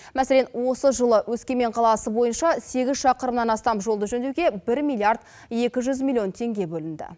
мәселен осы жылы өскемен қаласы бойынша сегіз шақырымнан астам жолды жөндеуге бір миллиард екі жүз миллион теңге бөлінді